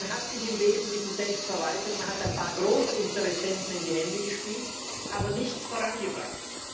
Man hat sich im Wesentlichen selbst verwaltet, man hat ein paar Großinteressenten in die Hände gespielt, aber nichts vorangebracht.